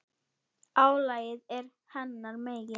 Álagið er hennar megin.